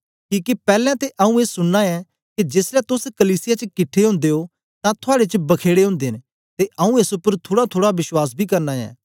किके पैलैं ते आऊँ ए सुनना ऐ के जेसलै तोस कलीसिया च किट्ठे ओदे ओ तां थुआड़े च बखेडे ओदे न ते आऊँ एस उपर थुड़ाथुड़ा विश्वास बी करना ऐ